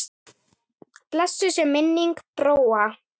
Blessuð sé minning Bróa.